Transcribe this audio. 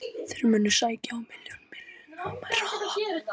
Þeir munu sækja á milljón mílna hraða.